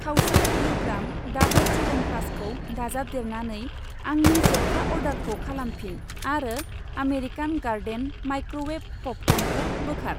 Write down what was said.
खावसे किल'ग्राम डाबर च्यवनप्रकाशखौ दाजाबदेरनानै आंनि जोबथा अर्डारखौ खालामफिन आरो आमेरिकान गार्डेन माइक्रोवेभ पपकर्नखौ बोखार।